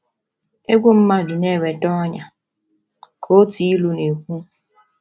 “ Egwu mmadụ na - eweta ọnyà, ” ka otu ilu na - ekwu.